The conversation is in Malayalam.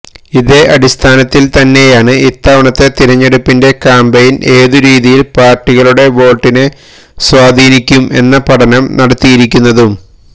ഇതേ അടിസ്ഥാനത്തിൽ തന്നെയാണ് ഇത്തവണത്തെ തിരഞ്ഞെടുപ്പിന്റെ ക്യാംപെയിൻ ഏതു രീതിയിൽ പാർട്ടികളുടെ വോട്ടിനെ സ്വാധീനിക്കും എന്ന പഠനം നടത്തിയിരിക്കുന്നതും